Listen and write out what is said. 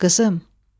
Qızım.